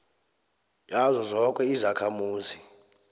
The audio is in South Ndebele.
yazo zoke izakhamuzi